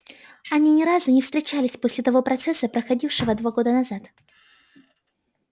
они ни разу не встречались после того процесса проходившего два года назад